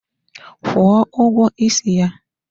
Kwụọ ụgwọ isi ya!